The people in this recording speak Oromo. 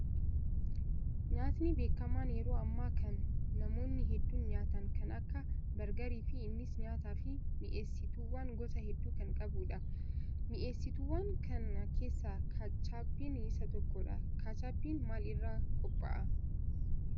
Nyaatni beekamaan yeroo ammaa kana namoonni hedduun nyaatan kan akka bargarii fi innis nyaataa fi mi'eessituuwwan gosa hedduu kan qabudha. Mi'eessituuwwan kana keessaa kaachaappiin isa tokkodha. Kaachaappiin maal irraa qophaa'a?